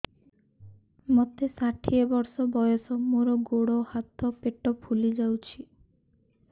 ମୋତେ ଷାଠିଏ ବର୍ଷ ବୟସ ମୋର ଗୋଡୋ ହାତ ପେଟ ଫୁଲି ଯାଉଛି